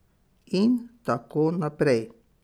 In tako naprej.